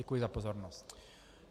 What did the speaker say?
Děkuji za pozornost.